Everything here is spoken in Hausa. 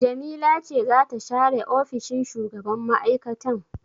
Jamila ce za ta share ofishin shugaban mai'aikatan.